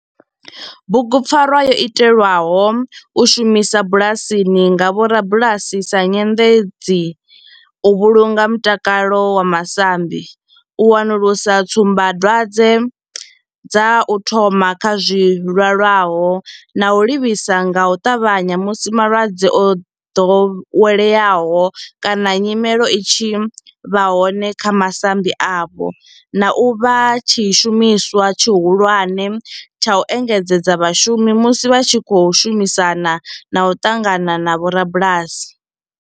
Bugupfarwa yo itelwa u shumiswa bulasini nga vhorabulasi sa nyendedzi u vhulunga mutakalo wa masambi, u wanulusa tsumbadwadzwe dza u thoma kha zwilwalaho na u livhisa nga u tavhanya musi malwadze o dovheleaho kana nyimele i tshi vha hone kha masambi avho, na u vha tshishumiswa tshihulwane tsha u engedzedza vhashumi musi vha tshi khou shumisana na u ṱangana na vhorabulasi.